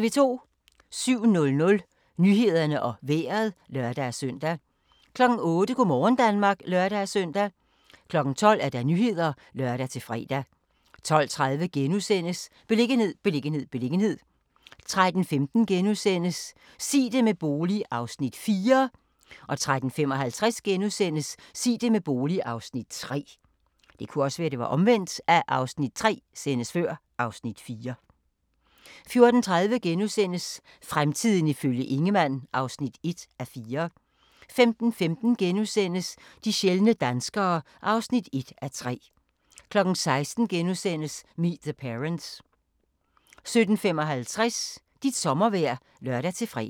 07:00: Nyhederne og Vejret (lør-søn) 08:00: Go' morgen Danmark (lør-søn) 12:00: Nyhederne (lør-fre) 12:30: Beliggenhed, beliggenhed, beliggenhed * 13:15: Sig det med bolig (Afs. 4)* 13:55: Sig det med bolig (Afs. 3)* 14:30: Fremtiden ifølge Ingemann (1:4)* 15:15: De sjældne danskere (1:3)* 16:00: Meet the Parents * 17:55: Dit sommervejr (lør-fre)